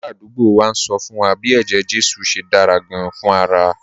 Aládùúgbò wa ń sọ fún wa bí eje-jesu ṣe dára gan-an fún ara